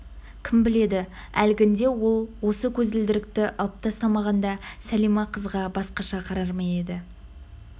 кім біледі әлгінде ол осы көзілдірікті алып тастамағанда сәлима қызға басқаша қарар ма еді